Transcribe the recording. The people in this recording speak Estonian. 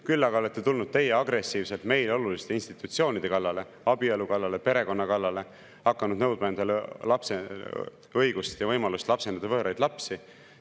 Küll aga olete tulnud teie agressiivselt meile oluliste institutsioonide kallale, abielu kallale, perekonna kallale, hakanud nõudma endale õigust ja võimalust lapsendada võõraid lapsi.